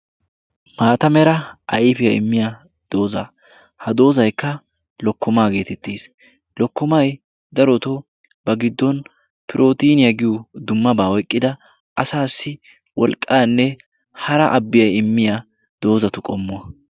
Maata mera ayfiyaa immiya dooza ha doozaikka lokkomaa geetettees. lokkomai daroto ba giddon pirotiniyaa giyo dummabaa oyqqida asaassi wolqqaanne hara abbiyaa immiya doozatu qommuwa.